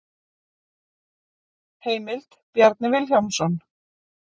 Heimild: Bjarni Vilhjálmsson.